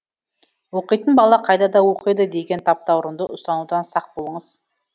оқитын бала қайда да оқиды деген таптаурынды ұстанудан сақ болыңыз